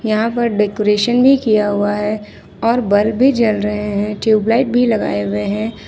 यहां पर डेकोरेशन भी किया हुआ है और बल्ब भी जल रहे हैं ट्यूबलाइट भी लगाए हुए हैं।